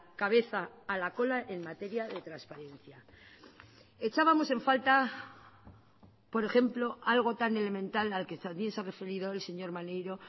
cabeza a la cola en materia de transparencia echábamos en falta por ejemplo algo tan elemental al que también se ha referido el señor maneiro